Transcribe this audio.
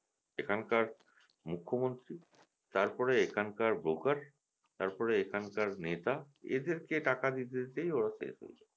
এখানকার মুখ্য মন্ত্রী তারপরে এখানকার broker তারপরে এখানকার নেতা টাকা এসেরকে টাকা দিতে দিতেই ওরা শেষ হয়ে যায়